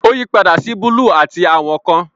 Ó yípadà sí búlúù àti àwọn àwọ̀ kan.